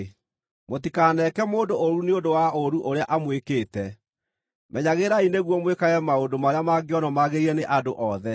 Mũtikaneke mũndũ ũũru nĩ ũndũ wa ũũru ũrĩa amwĩkĩte. Menyagĩrĩrai nĩguo mwĩkage maũndũ marĩa mangĩonwo magĩrĩire nĩ andũ othe.